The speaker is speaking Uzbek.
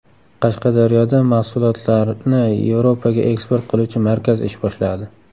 Qashqadaryoda mahsulotlarni Yevropaga eksport qiluvchi markaz ish boshladi.